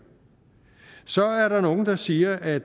så er der nogle der siger at